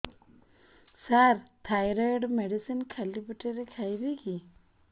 ସାର thyroid medicine ଖାଲି ପେଟରେ ଖାଇବି କି